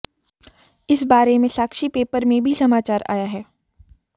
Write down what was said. इस बारे में साक्षी पेपर में भी समाचार आया है